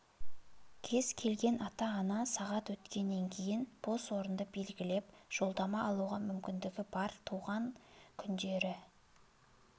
кез келген ата-ана сағат өткеннен кейін бос орынды белгілеп жолдама алуға мүмкіндігі бар туған күндері